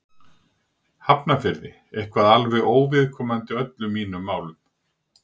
Hafnarfirði, eitthvað alveg óviðkomandi öllum mínum málum.